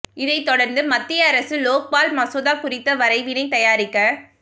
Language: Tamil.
இதைத்தொடர்ந்து மத்திய அரசு லோக்பால் மசோதா குறித்த வரைவினை தயாரிக்க